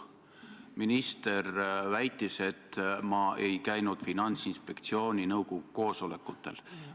Minister väitis, et ma ei käinud Finantsinspektsiooni nõukogu koosolekutel.